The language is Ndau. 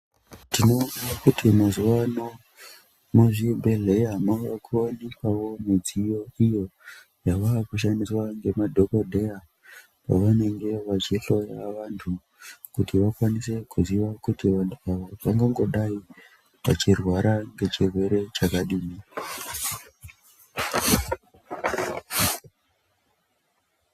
Tinoona kuti mazuwa ano muzvibhehleya maakuwanikwawo midziyo iyo yavakushandiswa ngemadhokodheya pavanenge vachihloya vanhu kuti vakwanise kuziya kuti vanhu ava vangangodai vachirwara ngechirwere chakadini.